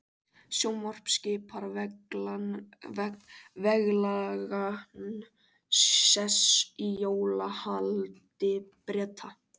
Sjónvarp skipar veglegan sess í jólahaldi Breta.